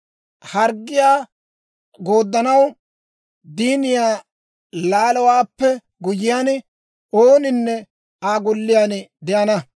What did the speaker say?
Harggiyaa yederssanaw diiniyaa laalowaappe guyyiyaan, ooninne Aa golliyaan de'ana.